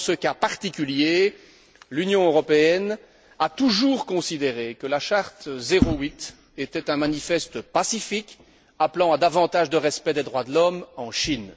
Et dans ce cas particulier, l'Union européenne a toujours considéré que la Charte 08 était un manifeste pacifique, appelant à davantage de respect des droits de l'homme en Chine.